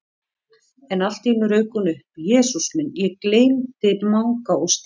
En allt í einu rauk hún upp: Jesús minn, ég gleymdi Manga og Stínu